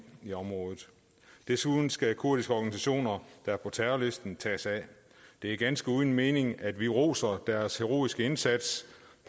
i området desuden skal de kurdiske organisationer der er på terrorlisten tages af det er ganske uden mening at vi roser deres heroiske indsats